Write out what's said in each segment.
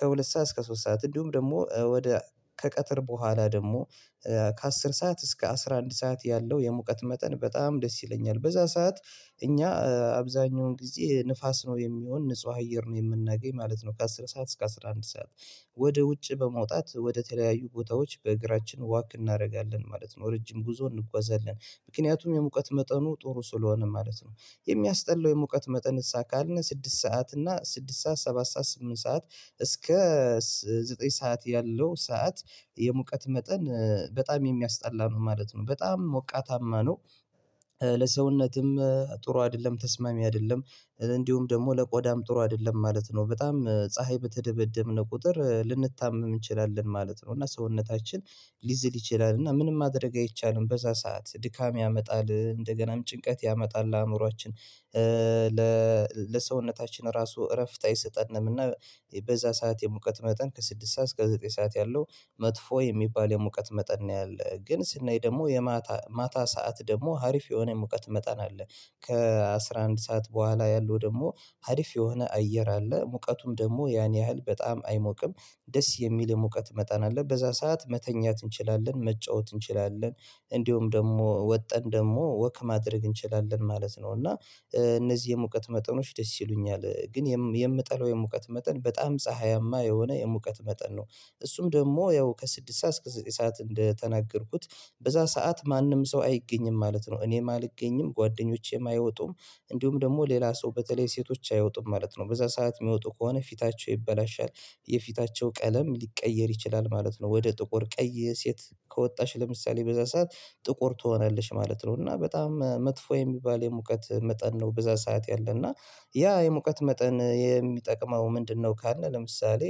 ከሁለት ሰዓት እስከ ሶስት ሰዓት እንዲሁም ደግሞ ወደ ከቀትር በኋላ ደግሞ ከአስር ሰዓት እስከ አስራ አንድ ሰዓት ያለው የሙቀት መጠን በጣም ደስ ይለኛል በዛ ሰዓት እኛ አብዛኛውን ጊዜ ንፋስ ነው የሚሆን ንጹህ አየር ነው የምናገኝ ማለት ነው ከአስር ሰዓት እስከ አስራ አንድ ሰዓት ወደ ውጭ በመውጣት ወደ ተለያዩ ቦታዎች በእግራችን ወክ እናደርጋለን ማለት ነው ረጅም ጉዞ እንጓዛለን ምክንያቱም የሙቀት መጠኑ ጥሩ ስለሆነ ማለት ነው የሚያስጠላው የሙቀት መጠንሳ ካልን ስድስት ሰዓት እና ስድስት ሰዓት ሰባት ሰዓት ስምንት ሰዓት እስከ ዘጠኝ ሰዓት ያለው ሰዓት የሙቀት መጠን በጣም የሚያስጠላ ነው ማለት ነው በጣም ሞቃታማ ነው ለሰውነትም ጥሩ አይደለም ተስማሚ አይደለም እንዲሁም ደግሞ ለቆዳም ጥሩ አይደለም ማለት ነው በጣም ፀሀይ በተደበደብን ቁጥር ልንታመም እንችላለን ማለት ነው እና ሰውነታችን ሊዝል ይችላል እና ምንም ማድረግ አይቻልም በዛ ሰዓት ድካም ያመጣል እንደገናም ጭንቀት ያመጣል አእምሮአችን ለሰውነታችን ራሱ እረፍት አይሰጠንም እና በዛ ሰዓት የሙቀት መጠን ከስድስት ሰዓት እስከ ዘጠኝ ሰዓት ያለው መጥፎ የሚባል የሙቀት መጠን ነው ያለው ግን ስናይ ደግሞ የማታ ማታ ሰዓት ደግሞ ሀሪፍ የሆነ ሙቀት መጠን አለ ከአሥራ አንድ ሰዓት በኋላ ያለው ደግሞ ሀሪፍ የሆነ አየር አለ ሙቀቱም ደግሞ ያን ያህል በጣም አይሞቅም ደስ የሚል የሙቀት መጠን አለ በዛ ሰዓት መተኛት እንችላለን መጫወት እንችላለን እንደሁም ደግሞ ወጠን ደግሞ ወክ ማድረግ እንችላለን ማለት ነው እና እነዚህ የሙቀት መጠኖች ደስ ይሉኛል ግን የምጠላው የሙቀት መጠን በጣም ፀሀያማ የሆነ የሙቀት መጠን ነው እሱም ደግሞ ያው ከስድስት ሰዓት እስከ ዘጠኝ ሰዓት እንደተናገርኩት በዛ ሰዓት ማንም ሰው አይገኝም ማለት ነው እኔም አልገኝም ጓደኞቼም አይወጡም እንዲሁም ደግሞ ሌላ ሰው በተለይ ሴቶች አይወጡም ማለት ነው በዛ ሰዓት የሚወጡ ከሆነ ፊታቸው ይበላሻል የፊታቸው ቀለም ሊቀየር ይችላል ማለት ነው ወደ ጥቁር ቀይ ሴት ከወጣች ለምሳሌ በዛ ሰዓት ጥቁር ትሆናለሽ ማለት ነው እና በጣም መጥፎ የሚባል የሙቀት መጠን ነው በዛ ሰዓት ያለ እና ያ የሙቀት መጠን የሚጠቅመው ምንድነው ካለ ለምሳሌ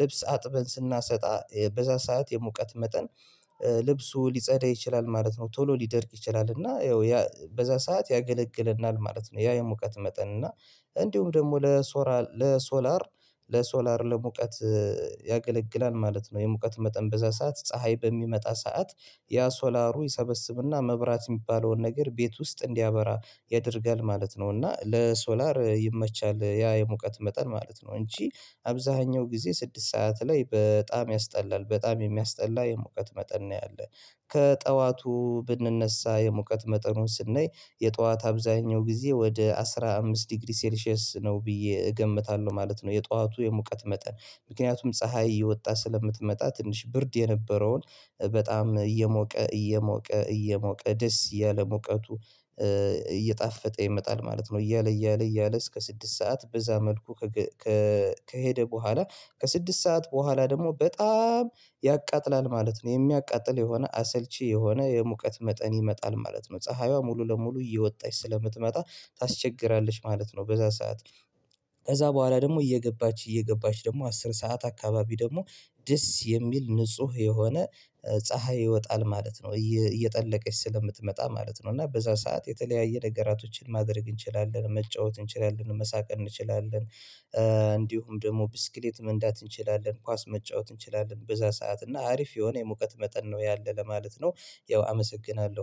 ልብስ አጥበን ስናሰጣ በዛ ሰዓት የሙቀት መጠን ልብሱ ሊጸዳ ይችላል ማለት ነው ቶሎ ሊደርቅ ይችላል እና ያው በዛ ሰዓት ያገለግለናል ማለት ነው ያ የሙቀት መጠን እና እንዲሁም ደግሞ ለሶራ ለሶላር ለሶላር ለሙቀት ያገለግላል ማለት ነው የሙቀት መጠን በዛ ሰዓት ፀሀይ በሚመጣ ሰዓት ያ ሶላሩ ይሰበስብና መብራት የሚባለውን ነገር ቤት ውስጥ እንዲያበራ ያደርጋል ማለት ነው እና ለሶላር ይመቻል ያ የሙቀት መጠን ማለት ነው እንጂ አብዛኛው ጊዜ ስድስት ሰዓት ላይ በጣም ያስጠላል በጣም የሚያስጠላ የሙቀት መጠን ነው ያለን ከጠዋቱ ብንነሳ የሙቀት መጠኑን ስናይ የጧት አብዛኛው ጊዜ ወደ አስራ አምስት ዲግሪ ሴልሺየስ ነው ብዬ እገምታለሁ ማለት ነው የጧቱ የሙቀት መጠን ምክንያቱም ፀሀይ እየወጣ ስለምትመጣ ትንሽ ብርድ የነበረውን በጣም እየሞቀ እየሞቀ እየሞቀ ደስ እያለ ሞቀቱ እየጣፈጠ ይመጣል ማለት ነው እያለ እያለ እያለ እስከ ስድስት ሰዓት በዛ መልኩ ከሄደ በኋላ ከስድስት ሰዓት በኋላ ደግሞ በጣም ያቃጥላል ማለት ነው የሚያቃጥል የሆነ አሰልቺ የሆነ የሙቀት መጠን ይመጣል ማለት ነው ፀሀይዋ ሙሉ ለሙሉ እየወጣች ስለምትመጣ ታስቸግራለች ማለት ነው በዛ ሰዓት ከዛ በኋላ ደግሞ እየገባች እየገባች ደግሞ አስር ሰዓት አካባቢ ደግሞ ደስ የሚል ንጹህ የሆነ ፀሀይ ይወጣል ማለት ነው እየጠለቀች ስለምትመጣ ማለት ነው እና በዛ ሰዓት የተለያየ ነገራቶችን ማድረግ እንችላለን መጫወት እንችላለን መሳቅ እንችላለን እንዲሁም ደግሞ ብስክሌት መንዳት እንችላለን ኳስ መጫወት እንችላለን በዛ ሰዓት እና አሪፍ የሆነ የሙቀት መጠን ነው ያለ ለማለት ነው ያው አመሰግናለሁ።